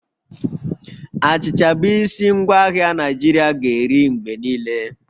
Achịcha bụ isi ngwaahịa Naijiria ga-eri mgbe niile